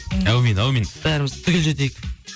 әумин әумин бәріміз түгел жетейік